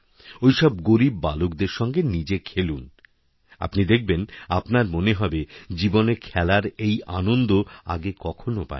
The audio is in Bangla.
ওইসব গরীব বালকদের সঙ্গে নিজে খেলুন আপনি দেখবেন আপনার মনে হবে জীবনে খেলারএই আনন্দ আগে কখনও পাননি